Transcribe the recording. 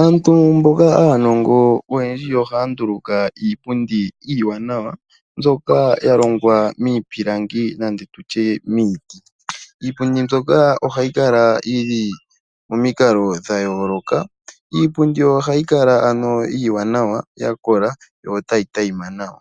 Aantu mboka aanongo oyendji ohaya nduluka iipundi iiwanawa mbyoka ya longwa miipilangi nenge ndi tye miiti. Iipundi mbyoka ohayi kala yi li pamikalo dha yooloka. Ohayi kala iiwanawa, ya kola yo tayi tayima nawa.